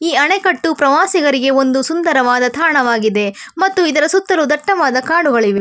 ಈ ಅಣೆಕಟ್ಟು ಪ್ರವಾಸಿಗರಿಗೆ ಒಂದು ಸುಂದರವಾದ ತಾಣವಾಗಿದೆ ಮತ್ತು ಇದರ ಸುತ್ತಲೂ ದಟ್ಟವಾದ ಕಾಡುಗಳಿವೆ.